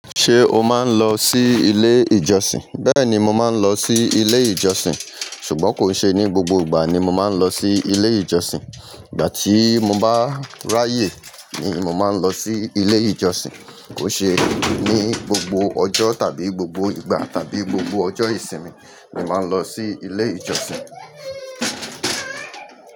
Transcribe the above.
Ṣé o máa ń lọ sí ilé ìjọsìn? Bẹ́ẹ̀ ni, mo máa ń lọ sí ilé ìjọsìn. Ṣùgbọ́n kò ṣe ní gbogbo ìgbà ni mo máa ń lọ sí ilé ìjọsìn. Ìgbà tí mo bá ráyè ni mo máa ń lọ sí ilé ìjọsìn. Kò ṣe ní gbogbo ọjọ́ tàbí gbogbo ìgbà tàbí gbogbo ọjọ́ ìsinmi ni mo máa ń lọ sí ilé ìjọsìn.